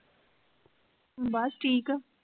ਬਸ ਠੀਕ ਆ।